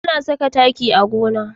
Ana saka taki a gona.